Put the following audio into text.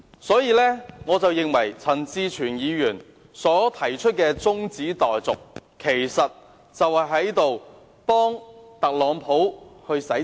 所以，我認為陳志全議員提出中止待續議案，其實是在給特朗普洗塵。